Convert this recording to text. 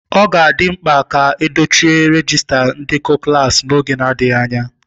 Ọ ga-adị mkpa ka edochie rejiista ndekọ klaasị n'oge adịghị anya.